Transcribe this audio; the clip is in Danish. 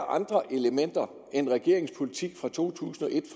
andre elementer end regeringens politik fra to tusind og et